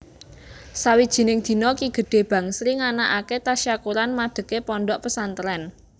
Sawijining dina Ki Gede Bangsri nganakaké tasyakuran madegé pondhok pesantrèn